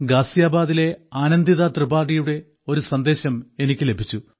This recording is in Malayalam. ഗാസിയാബാദിലെ ആനന്ദിത ത്രിപാഠിയുടെ ഒരു സന്ദേശം എനിക്ക് ലഭിച്ചു